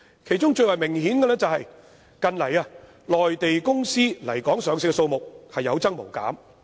其中最為明顯的是，近來內地公司來港上市的數目有增無減。